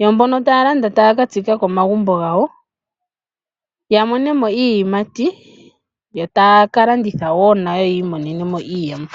Yo mbono ta ya landa taya ka tsika komagumbo gawo, ya monemo iiyimati, yo taa kalanditha woo nayo yiimonene mo iiyemo.